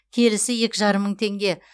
келісі екі жарым мың теңге